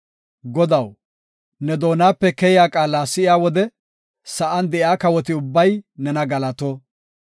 Godaw, ne doonape keyiya qaala si7iya wode, sa7an de7iya kawoti ubbay nena galato.